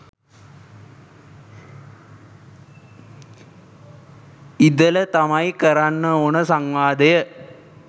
ඉඳල තමයි කරන්න ඕනෙ සංවාදය